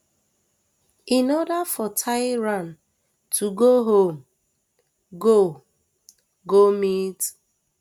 in order for tigran to go home go go meet